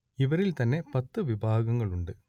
ഇവരിൽ തന്നെ പത്തു വിഭാഗങ്ങൾ ഉണ്ട്